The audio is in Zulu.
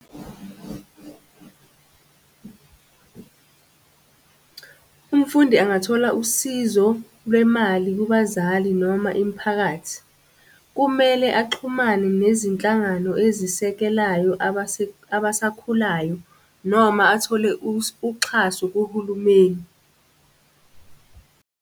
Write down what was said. Umfundi angathola usizo lwemali kubazali noma imiphakathi. Kumele axhumane nezinhlangano ezisekelayo abasakhulayo, noma athole uxhaso kuhulumeni .